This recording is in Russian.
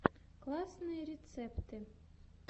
классные рецепты